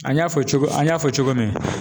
An y'a fɔ cogo min, an y'a fɔ cogo min